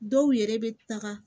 Dɔw yɛrɛ bɛ taga